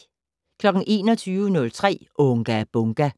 21:03: Unga Bunga!